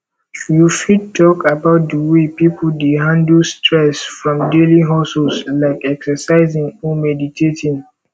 you fit talk about di way people dey handle stress from daily hustles like exercising or meditating